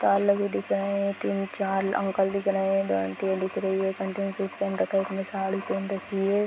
ताल लगे दिख रहा है तीन चार अंकल दिख रहे है दो आंटिया दिख रही है एक आंटी ने सूट पहन रखा है एक ने साड़ी पहन रखी है |